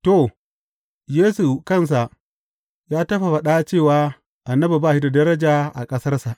To, Yesu kansa ya taɓa faɗa cewa annabi ba shi da daraja a ƙasarsa.